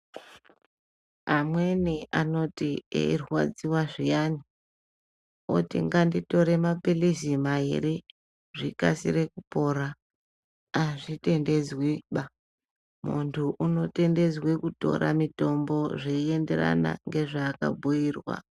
Amweni anoti eirwadziwa zviyani oti nganditore maphiritsi mairi kuti zvirwere zvikurumidze kupera, azvitendedzwiba. Muntu unotendedzwa kutora mitombo zveyienderana ngezvaakabhuyirwa.